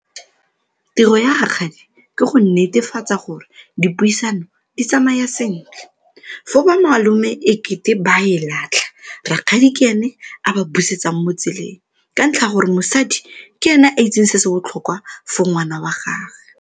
Tiro ya rakgadi ke go netefatsa gore dipuisano di tsamaya sentle, fo bomalome e kete ba e latlha rakgadi ke ene a ba busetsang mo tseleng, ka ntlha ya gore mosadi ke ene a itseng se se botlhokwa for ngwana wa gagwe.